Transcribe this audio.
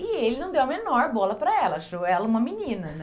E ele não deu a menor bola para ela, achou ela uma menina, né?